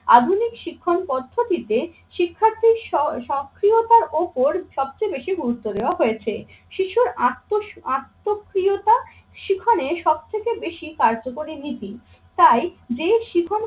আধুনিক শিক্ষণ পদ্ধতিতে শিক্ষার্থী স~ সক্রিয়তার ওপর সবচেয়ে বেশি গুরুত্ব দেওয়া হয়েছে। শিশুর আত্মক্রিয়তা সেখানে সব থেকে বেশি কার্যকরী নীতি তাই যে শিখন